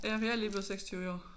Ja jeg er lige blevet 26 i år